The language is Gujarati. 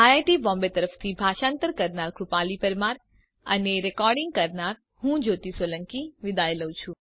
આઈઆઈટી બોમ્બે તરફથી ભાષાંતર કરનાર હું કૃપાલી પરમાર વિદાય લઉં છું